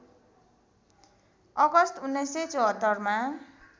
अगस्त १९७४ मा